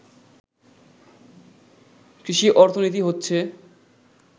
কৃষি অর্থনীতি হচ্ছে